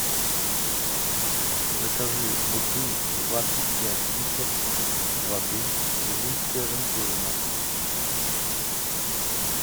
закажи бутыль двадцать пять литров воды увинская жемчужина